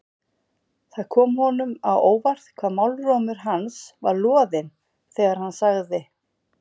Það kom honum á óvart hvað málrómur hans var loðinn þegar hann sagði